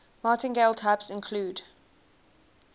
martingale types include